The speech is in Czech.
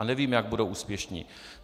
A nevím, jak budou úspěšní.